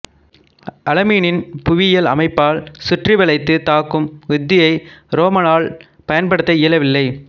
அலாமீனின் புவியியல் அமைப்பால் சுற்றி வளைத்து தாக்கும் உத்தியை ரோம்மலால் பயன்படுத்த இயலவில்லை